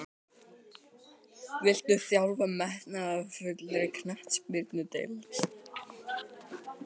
Viltu þjálfa hjá metnaðarfullri knattspyrnudeild?